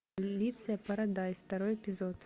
полиция парадайз второй эпизод